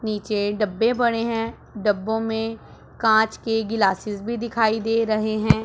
नीचे डब्बे पड़े हैं डब्बो में कांच के ग्लासेस भी दिखाई दे रहे हैं।